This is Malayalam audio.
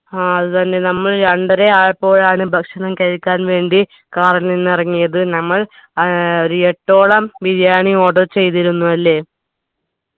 ആ അത് തന്നെ നമ്മൾ രണ്ടരയായപ്പോഴാണ് ഭക്ഷണം കഴിക്കാൻ വേണ്ടി car ൽ നിന്നിറങ്ങിയത് നമ്മൾ ഏർ ഒരു എട്ടോളം ബിരിയാണി order ചെയ്തിരുന്നു അല്ലെ